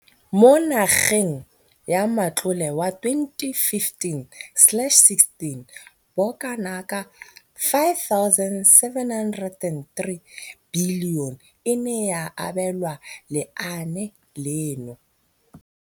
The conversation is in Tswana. Mo ngwageng wa matlole wa 2015,16, bokanaka R5 703 bilione e ne ya abelwa lenaane leno.